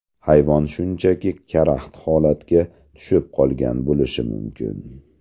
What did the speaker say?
Hayvon shunchaki karaxt holatga tushib qolgan bo‘lishi mumkin.